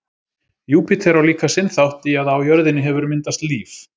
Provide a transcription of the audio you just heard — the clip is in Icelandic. Júpíter á líka sinn þátt í að á jörðinni hefur myndast líf.